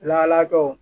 Lahalakɛw